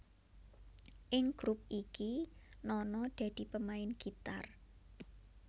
Ing grup iki Nono dadi pemain gitar